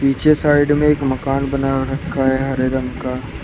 पीछे साइड में एक मकान बना रखा है हरे रंग का।